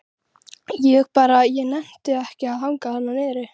Ég bara. ég nennti ekki að hanga þarna niðri.